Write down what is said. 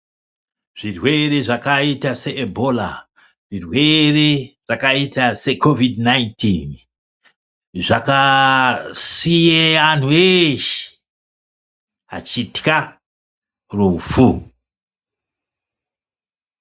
Zvirwere zvakaita seibhola, zvirwere zvakaita sekovhidhi nainitini, zvakasiye antu ashe achitwa rufu.